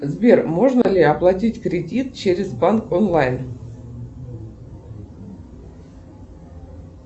сбер можно ли оплатить кредит через банк онлайн